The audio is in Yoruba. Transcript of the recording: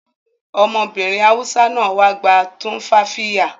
Ọmọbìnrin Hausa náà wá gba tumfafiya